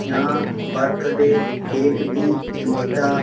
यहाँ birthday cake भी मिलता --